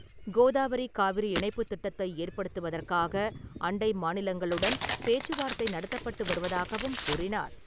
கோதாவரி - காவிரி இணைப்புத் திட்டத்தை ஏற்படுத்துவதற்காக அண்டை மாநிலங்களுடன் பேச்சுவார்த்தை நடத்தப்பட்டு வருவதாகவும் கூறினார்.